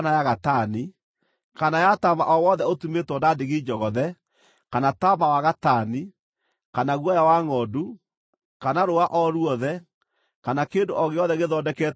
kana ya taama o wothe ũtumĩtwo na ndigi njogothe kana taama wa gatani, kana guoya wa ngʼondu, kana rũũa o ruothe, kana kĩndũ o gĩothe gĩthondeketwo na rũũa-rĩ,